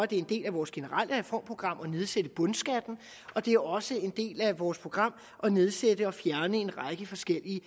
det en del af vores generelle reformprogram at nedsætte bundskatten og det er også en del af vores program at nedsætte og fjerne en række forskellige